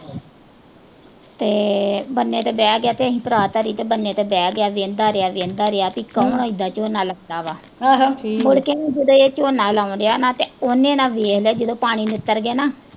ਤੇ ਬੰਨੇ ਤੇ ਬਹਿ ਗਿਆ ਤੇ ਇਹਨੇ ਪਰਾਤ ਧਰੀ ਤੇ ਬੰਨੇ ਤੇ ਬਹਿ ਗਿਆ ਤੇ ਵੇਂਹਦਾ ਰਿਆ, ਵੇਂਹਦਾ ਰਿਆ ਕਿ ਕੌਣ ਝੋਨਾ ਲਾਉਂਦਾ ਵਾ। ਮੁੜ ਕੇ ਜਦੋਂ ਇਹ ਝੋਨਾ ਲਾਉਣ ਡਿਆ ਨਾ ਤਾਂ ਉਹਨੇ ਨਾ ਵੇਖ ਲਿਆ ਜਿਹੜੇ ਨਿੱਤਰ ਗਏ ਨਾ